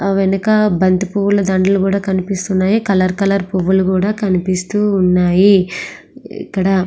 వెనక బంతిపూలు దండలు కనిపిస్తున్న వెనకాల ఆ కలర్ కలర్ పువ్వులు కూడా కనిపిస్తు ఉన్నాయి ఇక్కడ.